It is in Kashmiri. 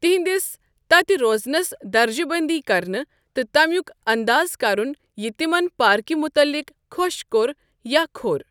تہندِس تتہِ روزنس درجہٕ بندی كرٕنہِ ،تہٕ تمیوُك انداز كرُن یہِ تِمن پاركہِ مُتعلق خو٘ش كو٘ر یا كھور ۔